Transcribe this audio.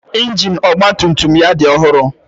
Ịnjin ọgba tum tum ya dị ọhụrụ.